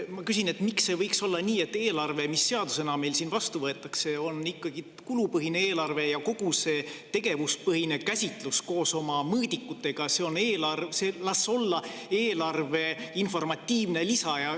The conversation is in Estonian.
Ma küsin, miks ei võiks olla nii, et eelarve, mis meil siin seadusena vastu võetakse, on ikkagi kulupõhine eelarve, ja kogu see tegevuspõhine käsitlus koos oma mõõdikutega oleks eelarve informatiivne lisa.